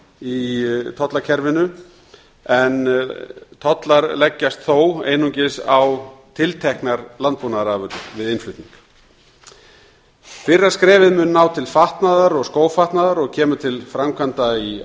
í tollakerfinu en tollar leggjast þó einungis á tilteknar landbúnaðarafurðir við innflutning fyrra skrefið mun ná til fatnaðar og skófatnaðar og kemur til framkvæmda í